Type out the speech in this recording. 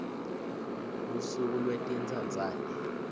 lusuku lwetintsandzane